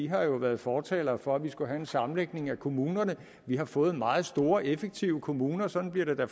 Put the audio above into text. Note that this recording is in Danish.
har jo været fortalere for at vi skulle have en sammenlægning af kommuner og vi har fået meget store og effektive kommuner sådan bliver det da